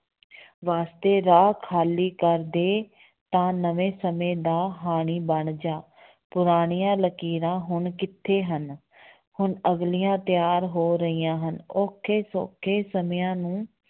ਵਾਸਤੇ ਰਾਹ ਖਾਲੀ ਕਰ ਦੇ, ਤਾਂ ਨਵੇਂ ਸਮੇਂ ਦਾ ਹਾਣੀ ਬਣ ਜਾ ਪੁਰਾਣੀਆਂ ਲਕੀਰਾਂ ਹੁਣ ਕਿੱਥੇ ਹਨ ਹੁਣ ਅਗਲੀਆਂ ਤਿਆਰ ਹੋ ਰਹੀਆਂ ਹਨ ਔਖੇ ਸੌਖੇ ਸਮਿਆਂ ਨੂੰ